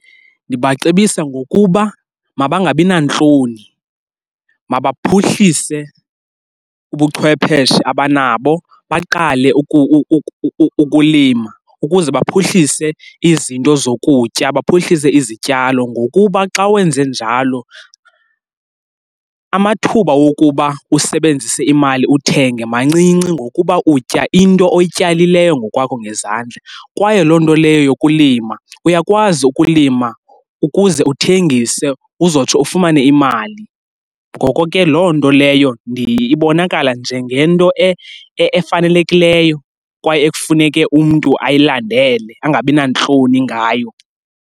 Ndibacebisa ngokuba mabangabi nantloni, mabaphuhlise ubuchwepheshe abanabo baqale ukulima ukuze baphuhlise izinto zokutya, baphuhlise izityalo. Ngokuba xa wenze njalo amathuba wokuba usebenzise imali uthenga mancinci ngokuba utya into oyityalileyo ngokwakho ngezandla, kwaye loo nto leyo yokulima uyakwazi ukulima ukuze uthengise, uzotsho ufumane imali. Ngoko ke, loo nto leyo ibonakala njengento efanelekileyo kwaye ekufuneke umntu ayilandele angabi nantloni ngayo.